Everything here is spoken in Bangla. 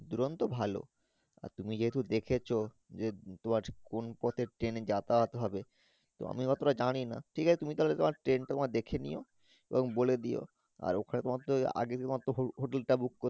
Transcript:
দুরন্ত ভালো আর তুমি যদি দেখেছ যে কোন পথের Train যাতায়াত হবে আমি এতো টা জানি না ঠিক আছে তুমি তাহলে তোমার Train তোমার দেখে নিও এবং বলে দিয়ো আর ওখানে তোমার তো আগে তোমার তো hoHotel টা Book করতে।